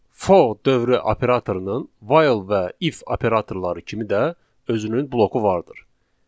For dövrü operatorunun while və if operatorları kimi də özünün bloku vardır.